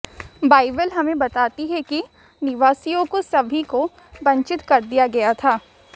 Bible हमें बताती है कि निवासियों को सभी को वंचित कर दिया गया था